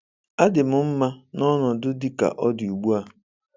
Adị m mma na ọnọdụ dị ka ọ dị ugbu a.